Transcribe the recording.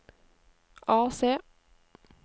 AC